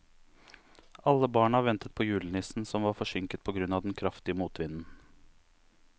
Alle barna ventet på julenissen, som var forsinket på grunn av den kraftige motvinden.